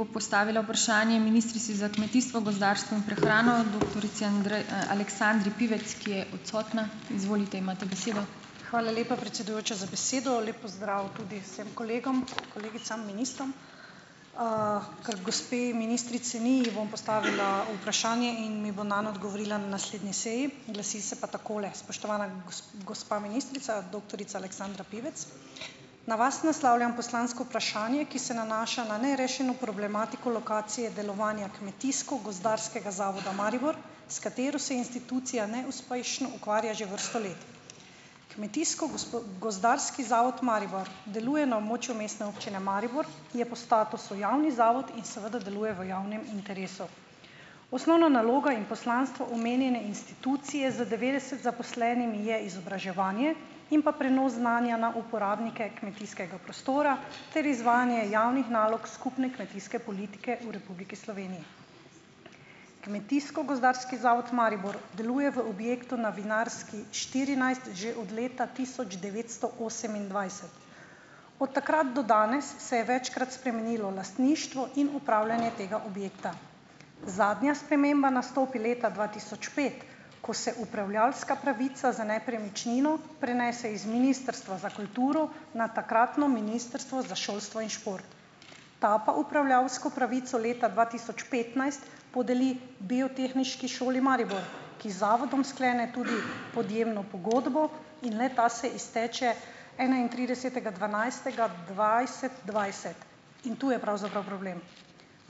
Hvala lepa, predsedujoča za besedo. Lep pozdrav tudi vsem kolegom, kolegicam, ministrom. Ker gospe ministrice ni, ji bom postavila vprašanje in mi bo nam odgovorila na naslednji seji. Glasi se pa takole. Spoštovana, gospa ministrica, doktorica Aleksandra Pivec. Na vas naslavljam poslansko vprašanje, ki se nanaša na nerešeno problematiko lokacije delovanja Kmetijsko-gozdarskega zavoda Maribor, s katero se institucija neuspešno ukvarja že vrsto let. Kmetijsko-gos() gozdarski zavod Maribor, deluje na območju Mestne občine Maribor, ki je po statusu javni zavod in seveda deluje v javnem interesu. Osnovna naloga in poslanstvo omenjene institucije z devetdeset zaposlenimi je izobraževanje. In pa prenos znanja na uporabnike kmetijskega prostora ter izvajanje javnih nalog skupne kmetijske politike v Republiki Sloveniji. Kmetijsko-gozdarski zavod Maribor deluje v objektu na Vinarski štirinajst že od leta tisoč devetsto osemindvajset Od takrat do danes se je večkrat spremenilo lastništvo in upravljanje tega objekta. Zadnja sprememba nastopi leta dva tisoč pet, ko se upravljavska pravica za nepremičnino prenese iz Ministrstva za kulturo na takratno Ministrstvo za šolstvo in šport. Ta pa upravljavsko pravico leta dva tisoč petnajst podeli Biotehniški šoli Maribor, ki z zavodom sklene tudi podjemno pogodbo in le-ta se izteče enaintridesetega dvanajstega dvajset dvajset In tu je pravzaprav problem.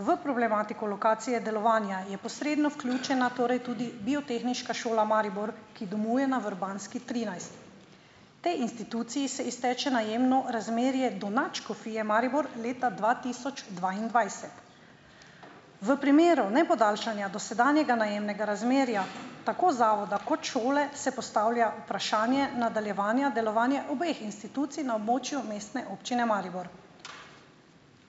V problematiko lokacije delovanja je posredno vključena torej tudi Biotehniška šola Maribor, ki domuje na Vrbanski trinajst. Potem instituciji se izteče najemno razmerje do Nadškofije Maribor leta dva tisoč dvaindvajset. V primeru nepodaljšanja dosedanjega najemnega razmerja, tako zavoda kot šole, se postavlja vprašanje nadaljevanja delovanja obeh institucij na območju Mestne občine Maribor.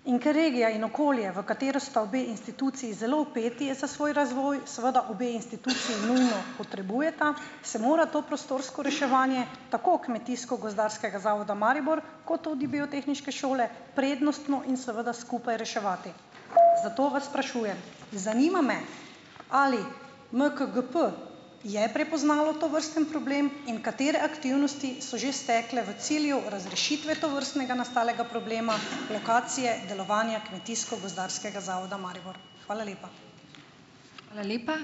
In ker regija in okolje, v katero sta obe instituciji zelo vpeti, je za svoj razvoj, seveda obe instituciji nujno potrebujeta, se mora to prostorsko reševanje, tako Kmetijsko-gozdarskega zavoda Maribor kot tudi Biotehniške šole, prednostno in seveda skupaj reševati. Zato vas sprašujem, zanima me ali MKGP je prepoznalo tovrsten problem in katere aktivnosti so že stekle v cilju razrešitve tovrstnega nastalega problema, lokacije, delovanja Kmetijsko-gozdarskega zavoda Maribor. Hvala lepa.